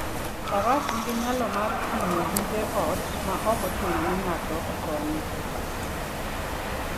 Faras nigi nyalo mar ting'o gige ot maok ochuno ni ng'ato okonye.